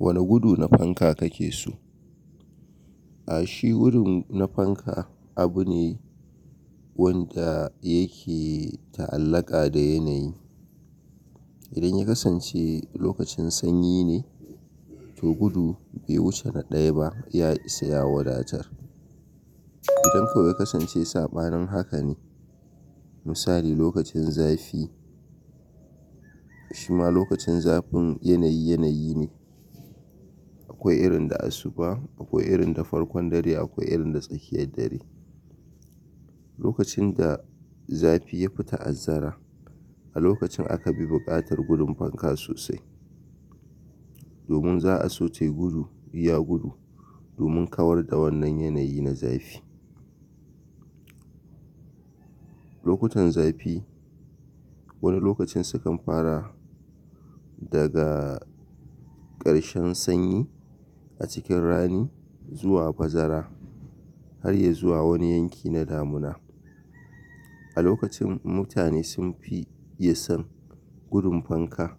Wane gudu na fanka kake so? A shi wurin na fanka abu ne wanda yake ta'allaka da yanayi. Idan ya kasance lokacin sanyi ne, to gudu bai wuce na ɗaya ba ya isa ya wadatar. Idan kuwa kasance sabanin haka ne, misali lokacin zafi shima lokacin zafin yanayi yanayi ne. Akwai irin da asuba, akwai irin da farkon dare, akwai irin da tsakiyar dare. Lokacin da zafi ya fi ta azzara, a lokacin aka bi buƙatar gudun fanka sosai. Domin za a so tai gudu, ya gudu domin kawar da wannan yanayi na zafi. Lokutan zafi wani lokacin sukan fara daga ƙarshen sanyi a cikin rani zuwa bazara har ya zuwa wani yanki na damuna. A lokacin mutane sun fi iya son gudun fanka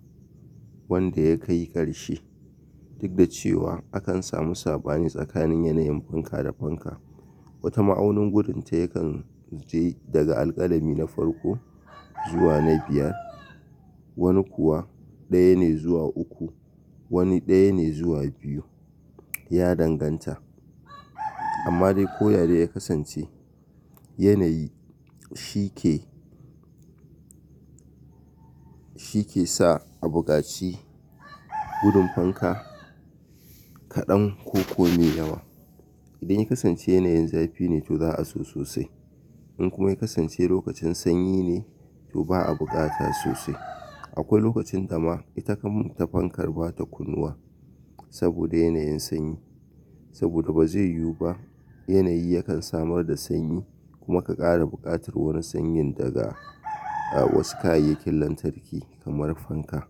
wanda ya kai ƙarshe. Duk da cewa akan samu sabani tsakanin yanayin fanka da fanka. Wata ma'aunin gudun ta yakan je daga alƙalami na farko zuwa na biyar. Wani kuwa ɗaya ne zuwa uku, wani ɗaya ne zuwa biyu ya danganta. Amma dai ko ya dai ya kasance yanayi shi ke, shi ke sa a buƙaci gudun fanka kaɗan ko ko mai yawa. Idan ya kasance yanayin zafi ne to za a so sosai. In kuma ya kasance lokacin sanyi ne to ba a buƙata sosai. Akwai lokacin da ma ita kan ta fankar ba ta kunnuwa saboda yanayin sanyi. Saboda ba zai yiwu ba yanayi yakan samar da sanyi kuma ka ƙara buƙatar wani sanyi daga wasu kayayyakin lantarki kamar fanka.